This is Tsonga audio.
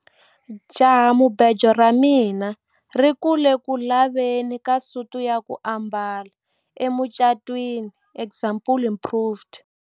Jahamubejo ra mina ri ku le ku laveni ka suti ya ku ambala emucatwini example improved.